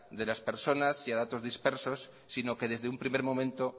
de las personas y a datos dispersos sino que desde un primer momento